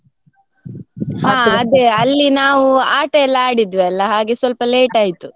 ಅಲ್ಲಿ ನಾವು ಆಟ ಎಲ್ಲ ಆಡಿದ್ವಿ ಅಲ್ಲ ಹಾಗೆ ಸ್ವಲ್ಪ late ಆಯ್ತು.